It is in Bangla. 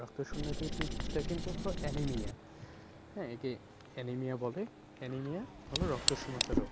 রক্ত শূন্য কে তে তা কিন্তু হল anemia হ্যাঁ? এ কে anemia বলে anemia হলো রক্ত শূন্যতা রোগ